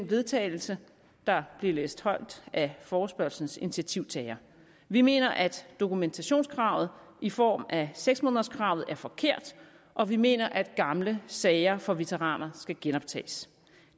vedtagelse der blev læst højt af forespørgslens initiativtagere vi mener at dokumentationskravet i form af seks månederskravet er forkert og vi mener at gamle sager for veteraner skal genoptages